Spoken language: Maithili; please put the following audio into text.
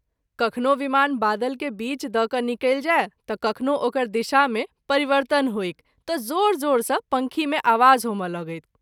कखनो विमान बादल के बीच द’ कय निकलि जाय त’ कखनो ओकर दिशा मे परिवर्तन होइक त’ जोर जोर सँ पँखी मे आवाज होमए लगैक।